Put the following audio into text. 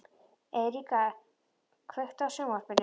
Eiríka, kveiktu á sjónvarpinu.